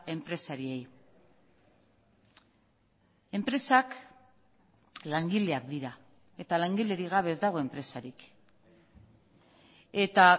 enpresariei enpresak langileak dira eta langilerik gabe ez dago enpresarik eta